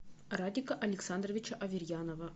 радика александровича аверьянова